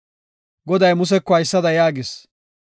Goday Museko haysada yaagis;